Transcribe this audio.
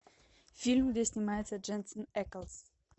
фильм где снимается дженсен эклс